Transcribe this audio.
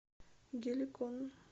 геликон